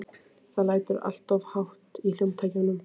Það lætur alltof hátt í hljómtækjunum.